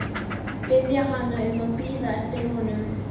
Biðja hana um að bíða eftir honum.